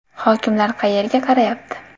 Hokimlar qayerga qarayapti?